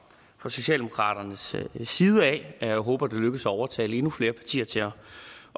socialdemokratiets side jeg håber det lykkes at overtale endnu flere partier til at